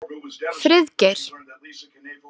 Friðgeir